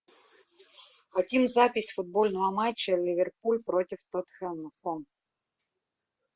хотим запись футбольного матча ливерпуль против тоттенхэма